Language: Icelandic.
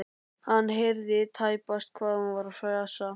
Hann heyrði tæpast hvað hún var að fjasa.